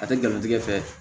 A tɛ jamutigɛ fɛ